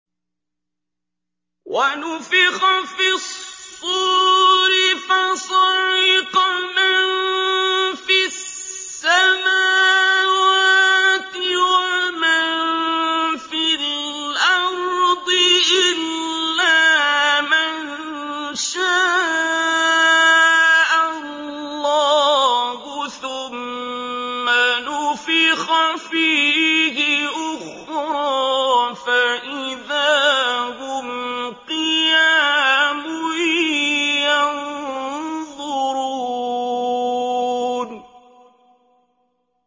وَنُفِخَ فِي الصُّورِ فَصَعِقَ مَن فِي السَّمَاوَاتِ وَمَن فِي الْأَرْضِ إِلَّا مَن شَاءَ اللَّهُ ۖ ثُمَّ نُفِخَ فِيهِ أُخْرَىٰ فَإِذَا هُمْ قِيَامٌ يَنظُرُونَ